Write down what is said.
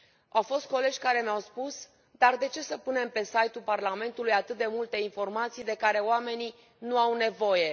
Au fost colegi care mi au spus dar de ce să punem pe site ul Parlamentului atât de multe informații de care oamenii nu au nevoie?